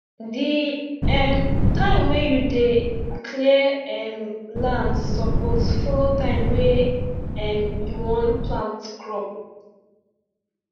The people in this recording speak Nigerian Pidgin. the um time wey you dey clear um land suppose follow time wey um you wan plant crop